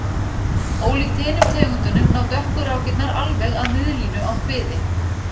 Ólíkt hinum tegundunum ná dökku rákirnar alveg að miðlínu á kviði.